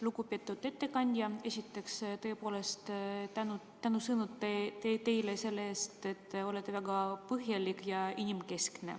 Lugupeetud ettekandja, esiteks tõepoolest tänusõnad teile selle eest, et te olete väga põhjalik ja inimkeskne.